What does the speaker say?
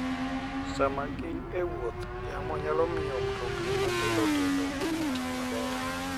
Sama gin e wuoth, yamo nyalo miyo mtokni matindo tindo kik ti maber.